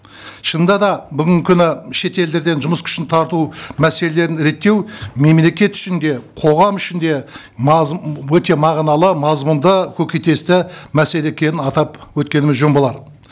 шынында да бүгінгі күні шет елдерден жұмыс күшін тарту мәселелерін реттеу мемлекет үшін де қоғам үшін де өте мағыналы мазмұнды көкейтесті мәселе екенін атап өткеніміз жөн болар